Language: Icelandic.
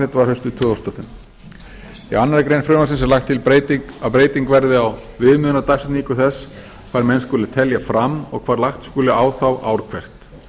samþykkt var haustið tvö þúsund og fjögur í annarri grein frumvarpsins er lagt til að breyting verði á viðmiðunardagsetningu þess hvar menn skuli telja fram og hvar lagt skuli á þá ár hvert